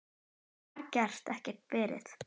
Ég bara get ekki farið